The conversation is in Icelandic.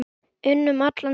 unum allan tímann.